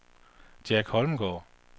Jack Holmgaard